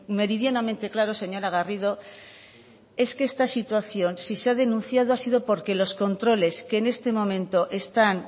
meridianamente claro señora garrido es que esta situación si se ha denunciado ha sido porque los controles que en este momento están